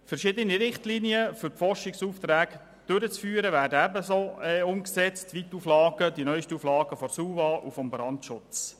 Verschiedene Richtlinien, um die Forschungsaufträge durchzuführen, werden ebenso umgesetzt wie die neusten Auflagen der SUVA und des Brandschutzes.